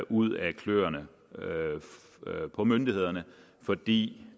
ud af kløerne på myndighederne fordi